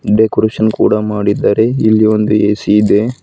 Decoration ಕೂಡ ಮಾಡಿದ್ದಾರೆ ಇಲ್ಲಿ ಒಂದು ಎ_ಸಿ ಇದೆ.